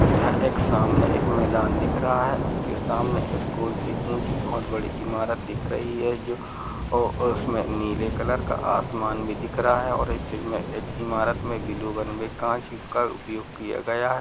यहाँ एक सामने एक मैदान दिख रहा है। उसके सामने एक गोल सी ऊँची बोहोत बड़ी इमारत दिख रही है जो ओ उसमें नीले कलर का आसमान भी दिख रहा है और इसी में इमारत में ब्लू का उपयोग किया गया है।